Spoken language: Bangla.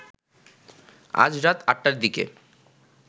আজ রাত আটটার দিকে